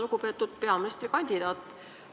Lugupeetud peaministrikandidaat!